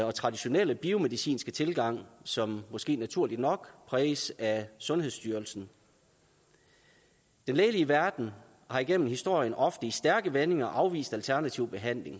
og traditionelle biomedicinske tilgang som måske naturligt nok præges af sundhedsstyrelsen den lægelige verden har igennem historien ofte i stærke vendinger afvist alternativ behandling